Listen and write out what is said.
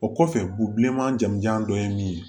O kɔfɛ u bi bilenman jamujan dɔ ye min ye